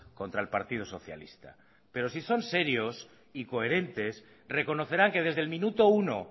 contra el partido socialista pero si son serios y coherentes reconocerán que desde el minuto uno